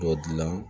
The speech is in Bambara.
Dɔ dilan